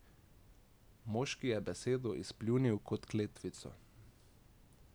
Moški je besedo izpljunil kot kletvico.